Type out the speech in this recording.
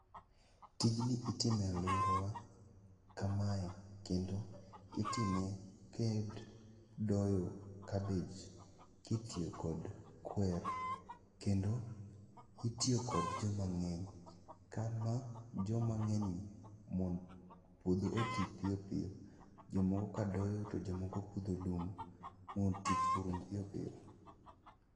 Tijni itimo e alworawa kamae kendo otime kidogo kabej kitiyo kod kwer kendo itiyo kod jomang'eny, kama jomang'enygi, mondo puodho oti piyo piyo. Jomoko ka doyo to jomoko pudho lum mondo tich orum piyo piyo.